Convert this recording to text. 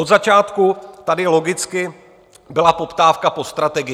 Od začátku tady logicky byla poptávka po strategii.